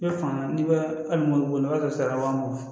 mɔbili bolila sara wa mugan